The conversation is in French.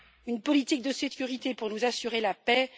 une politique de sécurité pour nous assurer la paix.